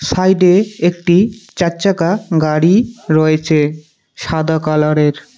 সাইডে একটি চারচাকা গাড়ি রয়েছে সাদা কালারের।